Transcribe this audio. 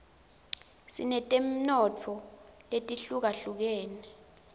sinetemnotfo letihlukahlukene